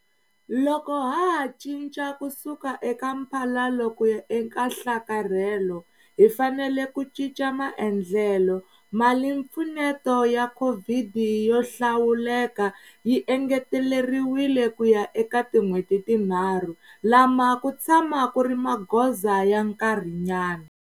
Loko ha ha cinca ku suka eka mphalalo ku ya eka nhlakarhelo, hi fanele ku cinca maendlelo. Malimpfuneto ya COVID yo hlawuleka yi engeteleriwile kuya eka tin'hweti tinharhu. Lama ku tshama ku ri magoza ya nkarhinyana.